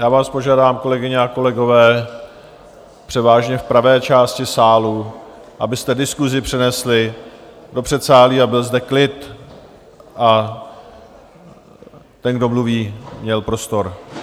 Já vás požádám, kolegyně a kolegové, převážně v pravé části sálu, abyste diskusi přenesli do předsálí a byl zde klid, aby ten, kdo mluví, měl prostor.